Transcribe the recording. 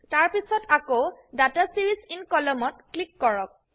তাৰপিছত আকৌ data series in columnত ক্লিক কৰক